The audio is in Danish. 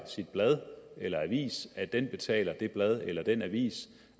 sit blad eller avis at den betaler det blad eller den avis